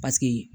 Paseke